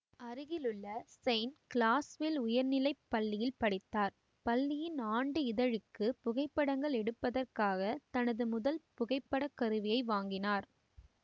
அருகிலுள்ள Saint Clairsville உயர்நிலை பள்ளியில் படித்தார் பள்ளியின் ஆண்டு இதழுக்குப் புகைப்படங்கள் எடுப்பதற்காகத் தனது முதல் புகைப்படக் கருவியை வாங்கினார்